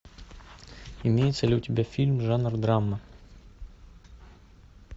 имеется ли у тебя фильм жанр драма